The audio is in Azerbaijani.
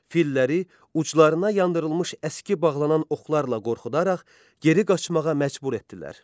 Filləri uclarına yandırılmış əski bağlanan oxlarla qorxudaraq geri qaçmağa məcbur etdilər.